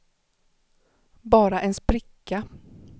bara en spricka